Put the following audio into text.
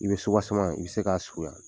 I bɛ suwasemen i i bɛ se k'a surunya.